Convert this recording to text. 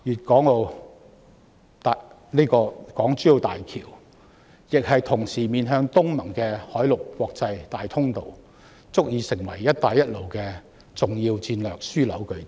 港珠澳大橋同時是面向東南亞國家聯盟的海陸國際大通道，足以成為"一帶一路"的重要戰略樞紐據點。